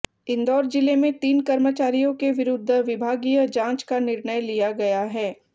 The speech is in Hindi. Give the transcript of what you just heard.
इंदौर जिले में तीन कर्मचारियों के विरूद्ध विभागीय जाँच का निर्णय लिया गया है